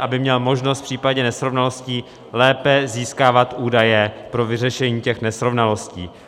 aby měl možnost v případě nesrovnalostí lépe získávat údaje pro vyřešení těch nesrovnalostí.